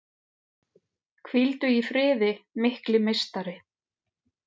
Hvíldu í friði mikli meistari!